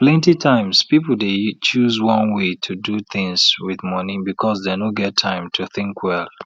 plenty times people dey choose one way to do things with money because dem no get time to think well